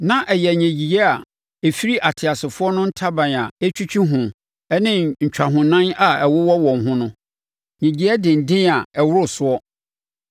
Na ɛyɛ nnyegyeeɛ a ɛfiri ateasefoɔ no ntaban a ɛtwitwi ho ne ntwahonan a ɛwowɔ wɔn ho no. Nnyegyeɛ denden a ɛworo soɔ.